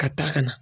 Ka taa ka na